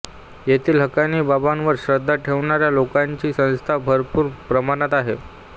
येथील हकानी बाबांवर श्रद्धा ठेवणाऱ्या लोकांची संख्या भरपूर प्रमाणात आहे